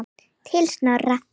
Til Snorra.